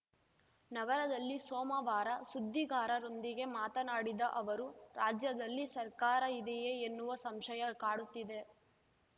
ನಗರದಲ್ಲಿ ಸೋಮವಾರ ಸುದ್ದಿಗಾರರೊಂದಿಗೆ ಮಾತನಾಡಿದ ಅವರು ರಾಜ್ಯದಲ್ಲಿ ಸರ್ಕಾರ ಇದೆಯೇ ಎನ್ನುವ ಸಂಶಯ ಕಾಡುತ್ತಿದೆ